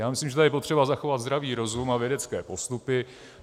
Já myslím, že je tady potřeba zachovat zdravý rozum a vědecké postupy.